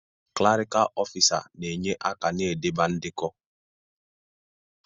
Klarịkal ọfisa na-enye aka n'idebe ndekọ.